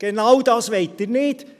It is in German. Genau dies wollen Sie nicht!